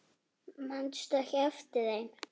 Manstu ekki eftir þeim?